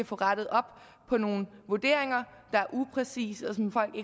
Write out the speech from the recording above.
få rettet op på nogle vurderinger der er upræcise og som folk